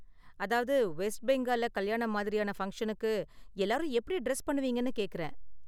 அதாவது வெஸ்ட் பெங்கால்ல கல்யாணம் மாதிரியான ஃபங்சனுக்கு எல்லாரும் எப்படி டிரஸ் பண்ணுவீங்கனு கேக்கறேன்.